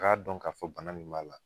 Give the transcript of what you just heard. Ka dɔn ka fɔ bana min b'a la